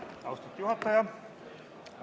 Austatud juhataja!